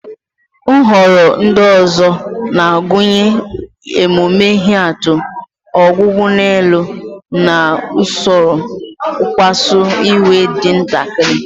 Nhọrọ ndị ọzọ na-agụnye emume ihe atụ, ọgwụgwọ n'elu, na usoro mkpasu iwe dị ntakịrị.